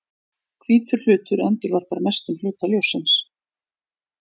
Hvítur hlutur endurvarpar mestum hluta ljóssins.